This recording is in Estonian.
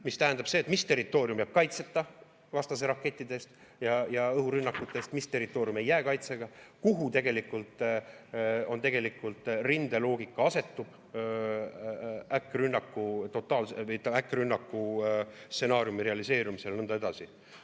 See tähendab seda, mis territoorium jääb kaitseta vastase rakettide eest ja õhurünnakute eest, mis territoorium ei jää kaitseta, kuhu tegelikult rindeloogika asetub totaalse äkkrünnaku stsenaariumi realiseerumisel, ja nõnda edasi.